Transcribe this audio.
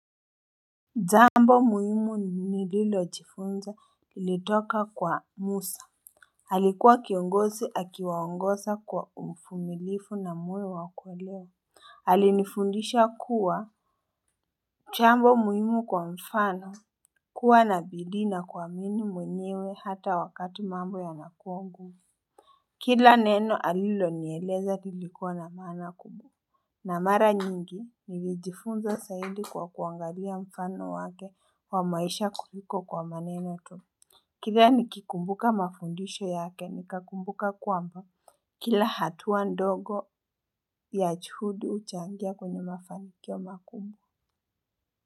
Jambo muhimu ni lilo jifunza ilitoka kwa Musa alikuwa kiongozi akiwaongosa kwa uvumilivu na moyo wakuelewa alifundisha kuwa jambo muhimu kwa mfano kuwa nabidii na kuwaminu mwenyewe hata wakati mambo ya nakuwa ngumu Kila neno alilo nieleza lilikuwa na maana kubwa na mara nyingi, nivijifunza zaidi kwa kuangalia mfano wake wa maisha kuliko kwa maneno tu. Kila nikikumbuka mafundisho yake nikakumbuka kwamba. Kila hatuwa ndogo ya juhudi huchangia kwenye mafanikio makubwa.